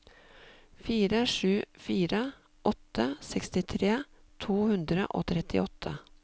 fire sju fire åtte sekstitre to hundre og trettiåtte